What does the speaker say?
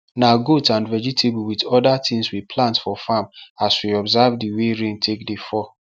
na goat and vegetable with oda things we plant for farm as we observe the way rain take dey fall